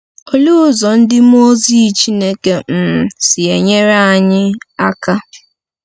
Olee ụzọ ndị mmụọ ozi Chineke um si enyere anyị aka?